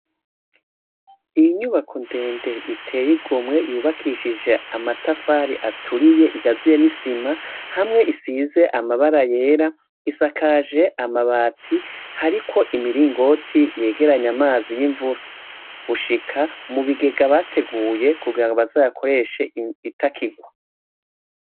Inyubako ndende iteyigomye yubakishije amatafari aturiye ikaziye n'isima hamwe isize amabara yera isakaje amabati, hariko imiringoti yegeranya amazi yimvura gushika mubigega bateguye kugirango bazoyakoreshe itakigwa.